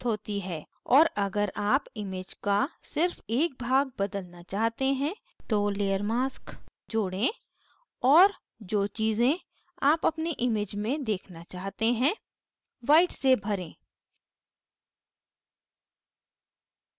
और अगर आप image का सिर्फ एक भाग बदलना चाहते हैं तो layer mask जोड़ें और जो चीज़ें आप अपनी image में देखना चाहते हैं white से भरें